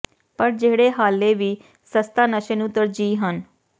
ਪਰ ਜਿਹੜੇ ਹਾਲੇ ਵੀ ਸਸਤਾ ਨਸ਼ੇ ਨੂੰ ਤਰਜੀਹ ਹਨ